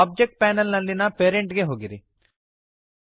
ಈಗ object panel ನಲ್ಲಿಯ parent ಗೆ ಹೋಗಿರಿ